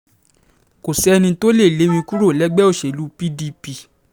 kò sẹ́ni tó lè lé mi kúrò lẹ́gbẹ́ òṣèlú pdp